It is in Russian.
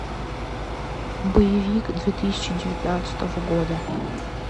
боевик две тысячи девятнадцатого года